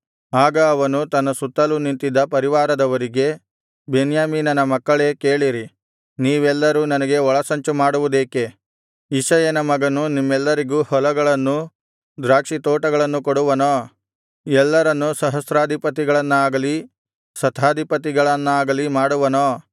ಆಗ ಅವನು ತನ್ನ ಸುತ್ತಲೂ ನಿಂತಿದ್ದ ಪರಿವಾರದವರಿಗೆ ಬೆನ್ಯಾಮೀನನ ಮಕ್ಕಳೇ ಕೇಳಿರಿ ನೀವೆಲ್ಲರೂ ನನಗೆ ಒಳಸಂಚು ಮಾಡುವುದೇಕೆ ಇಷಯನ ಮಗನು ನಿಮ್ಮೆಲ್ಲರಿಗೂ ಹೊಲಗಳನ್ನು ದ್ರಾಕ್ಷಿತೋಟಗಳನ್ನು ಕೊಡುವನೋ ಎಲ್ಲರನ್ನು ಸಹಸ್ರಾಧಿಪತಿಗಳನ್ನಾಗಲಿ ಶತಾಧಿಪತಿಗಳನ್ನಾಗಲಿ ಮಾಡುವನೋ